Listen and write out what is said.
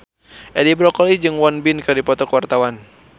Edi Brokoli jeung Won Bin keur dipoto ku wartawan